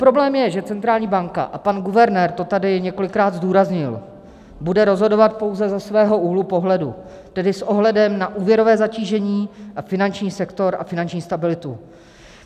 Problém je, že centrální banka - a pan guvernér to tady několikrát zdůraznil - bude rozhodovat pouze ze svého úhlu pohledu, tedy s ohledem na úvěrové zatížení a finanční sektor a finanční stabilitu.